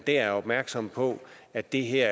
er opmærksom på at det her